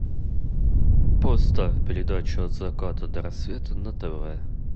поставь передачу от заката до рассвета на тв